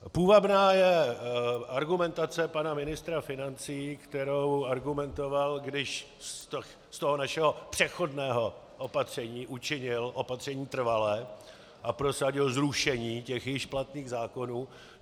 Půvabná je argumentace pana ministra financí, kterou argumentoval, když z toho našeho přechodného opatření učinil opatření trvalé a prosadil zrušení těch již platných zákonů.